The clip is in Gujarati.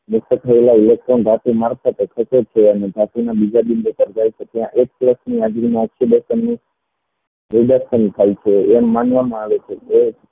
થયેલા electron reduction થાય છે એમ માનવામાં આવે છે કે